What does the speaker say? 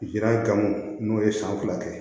Jira gamugu n'o ye san fila kɛ